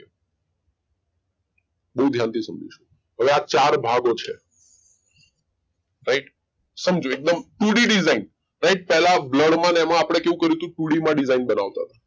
બઉ ધ્યાન થી સમજીશુ હવે આ ચાર ભાગો છે. રાઈટે સમજો એકદમ તુંડી ડીસીનએન્ડ પેલા બ્લુર એમાં આપડે કેવું કર્યું તું તું ડી દેસાઈન બનાવતા